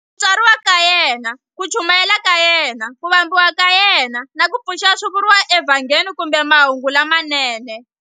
Ku tswariwa ka yena, ku chumayela ka yena, ku vambiwa ka yena, na ku pfuxiwa swi vuriwa eVhangeli kumbeMahungu lamanene.